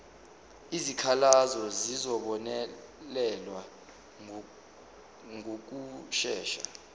izikhalazo zizobonelelwa ngokushesha